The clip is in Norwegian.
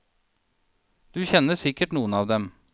Du kjenner sikkert noen av dem.